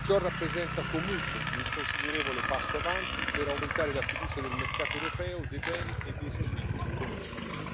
Ciò rappresenta comunque un considerevole passo avanti per aumentare la fiducia del mercato europeo dei beni e dei servizi connessi.